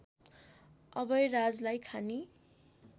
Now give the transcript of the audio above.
अभयराजलाई खानी